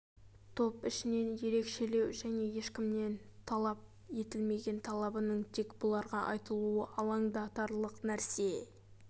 топ ішінен ерекшелеу және ешкімнен талап етілмеген талабының тек бұларға айтылуы алаңдатарлық нәрсе